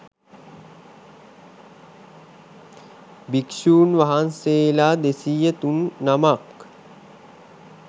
භික්ෂූන් වහන්සේලා 203 නමක්